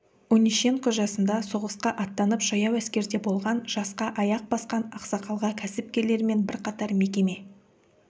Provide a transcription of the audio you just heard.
онищенко жасында соғысқа аттанып жаяу әскерде болған жасқа аяқ басқан ақсақалға кәсіпкерлер мен бірқатар мекеме